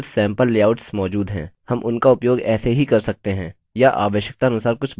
हम उनका उपयोग ऐसे ही कर सकते हैं या आवश्यकता अनुसार कुछ बदलाव करके उपयोग कर सकते हैं